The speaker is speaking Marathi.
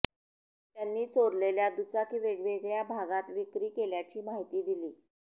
त्यांनी चोरलेल्या दुचाकी वेगवेगळ्या भागात विक्री केल्याची माहिती दिली